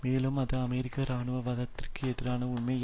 மேலும் அது அமெரிக்கா இராணுவ வாதத்திற்கு எதிரான உண்மையக